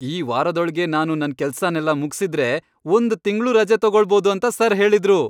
ಈ ವಾರದೊಳ್ಗೆ ನಾನು ನನ್ ಕೆಲ್ಸನೆಲ್ಲ ಮುಗ್ಸಿದ್ರೆ ಒಂದ್ ತಿಂಗ್ಳು ರಜೆ ತಗೋಳ್ಬೋದು ಅಂತ ಸರ್ ಹೇಳಿದ್ರು!